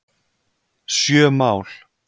Sjö mál